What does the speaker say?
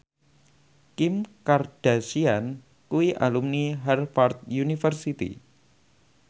Kim Kardashian kuwi alumni Harvard university